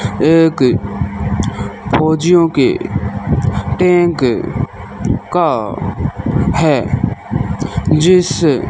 एक फौजियों के टेक का है जिस--